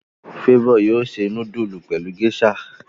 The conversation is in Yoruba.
Favour yóò se nudulu pẹlú geisha.